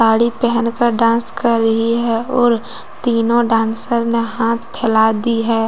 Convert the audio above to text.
घड़ी पहन कर डांस कर रही हैं और तीनों डांसर ने हाथ फैला दी है ।